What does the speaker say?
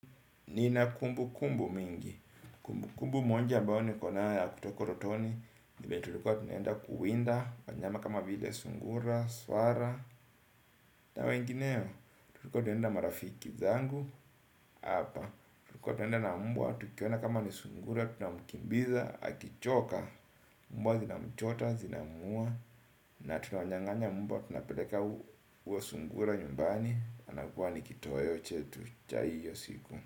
Nina kumbu kumbu mingi. Kumbu kumbu moja ambayo niko nayo ya kutoko utotoni N vile tulikuwa tunenda kuwinda wanyama kama vile sungura, swara. Na wengineo. Tulikuwa tunenda marafiki zangu. Hapa tulikuwa tunaenda na mbwa. Tukiwaona kama ni sungura tunamkimbiza, akichoka mbwa zinamchota, zinamuua. Na tunawanyanganya mbwa. Tunapeleka huyo sungura nyumbani. Anakuwa ni kitoweo chetu cha hiyo siku.